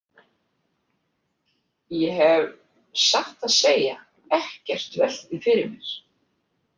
Ég hef satt að segja ekkert velt því fyrir mér.